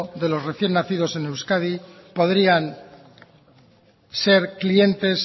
de los recién nacidos en euskadi podrían ser clientes